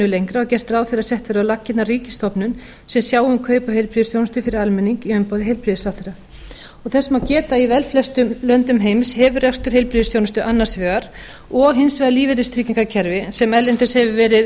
lengra og gert ráð fyrir að sett verði á laggirnar ríkisstofnun sem sjái um kaup á heilbrigðisþjónustu færir almenning í umboði heilbrigðisráðherra þess má geta að í velflestum löndum heims hefur rekstur heilbrigðisþjónustu annars vegar og hins vegar lífeyristryggingakerfi sem erlendis